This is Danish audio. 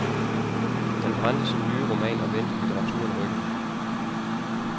Han brændte sin nye roman og vendte litteraturen ryggen.